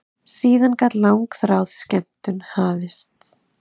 Síðan gat langþráð skemmtun hafist.